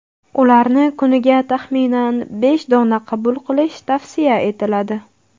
Ularni kuniga, taxminan, besh dona qabul qilish tavsiya etiladi.